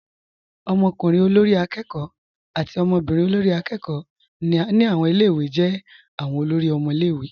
Ọmọkùnrin olórí akẹ́kọ̀ọ́. àti ọmọbírin olórí akẹ́kọ̀ọ́. ni awọn ilẹ̀-iwé jẹ́ awọn olóri ọmọ ilẹ̀-iwé.